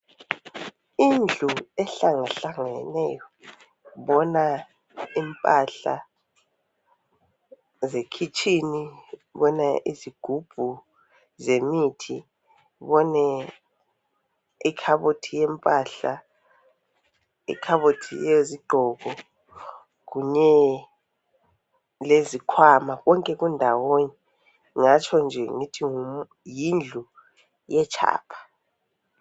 Indlu ehlangahlangeneyo mbona impahla zekhitshini mbona izigubhu zemithi mbone ikhabothi yempahla ikhabothi yezigqoko kunye lezikhwama konke kundawonye ngingatshonje ngithi yindlu yetshapha.